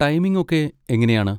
Timing ഒക്കെ എങ്ങനെയാണ്?